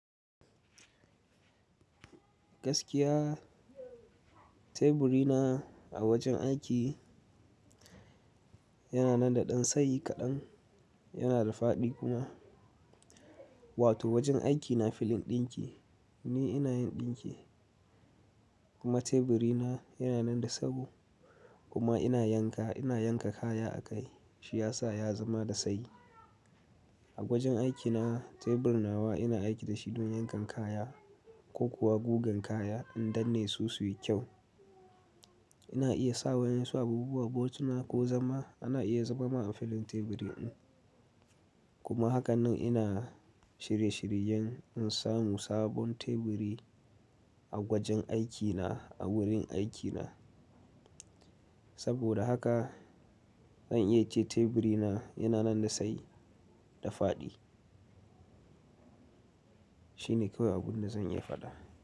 Gaskiya teburi na a wajen aiki yana nan da ɗan tsayi kaɗan, yana da faɗi kuma. Wato wajen aikina filin ɗinki ni ina yin ɗinki kuma teburi na yana nan da tsawo kuma ina yanka, ina yanka kaya a kai shi ya sa ya zama da tsayi. A gwajin aikina tebur na wa ina aiki da shi don yankan kaya ko kuwa gugan kaya in danne su su yi kyau. Ina iya sa wa yansu abubuwa but na ko zama ana iya zama a filin teburi ɗin kuma hakan nan ina shirye-shiryen in samu sabon teburi a gwajin aikina a wurin aikina. Saboda haka zan iya ce teburi na yana nan da tsayi da faɗi. Shi ne kawai abun da zan iya faɗa.